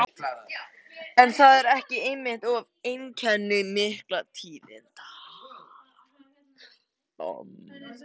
En er það ekki einmitt oft einkenni mikilla tíðinda?